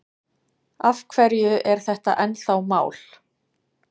Af hverju er þetta ennþá mál?